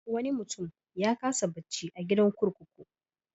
Wani mutum ya kasa bacci a gidan kurkuku.